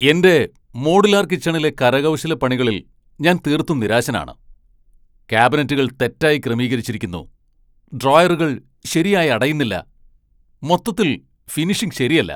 എന്റെ മോഡുലാർ കിച്ചണിലെ കരകൗശലപ്പണികളിൽ ഞാൻ തീർത്തും നിരാശനാണ്. ക്യാബിനറ്റുകൾ തെറ്റായി ക്രമീകരിച്ചിരിക്കുന്നു, ഡ്രോയറുകൾ ശരിയായി അടയുന്നില്ല, മൊത്തത്തിൽ ഫിനിഷിംഗ് ശരിയല്ല.